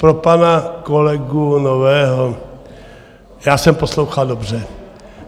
Pro pana kolegu Nového, já jsem poslouchal dobře.